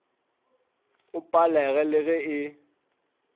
o palege le ge e